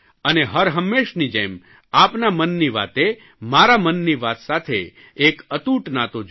અને હરહંમેશની જેમ આપના મનની વાતે મારા મનની વાત સાથે એક અતૂટ નાતો જોડ્યો છે